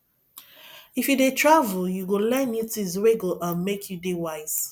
if you dey travel you go learn new tins wey go um make you dey wise